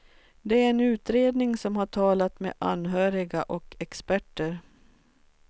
Det är en utredning som har talat med anhöriga och experter.